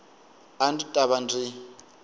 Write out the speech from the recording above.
a ndzi ta va ndzi